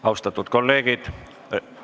Austatud kolleegid!